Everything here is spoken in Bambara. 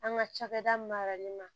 An ka cakɛda maralen na